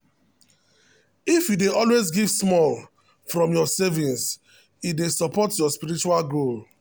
if you dey always give small from your savings e dey support your spiritual goal.